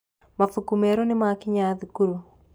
Mabuku merũ nĩmakinya thukuru.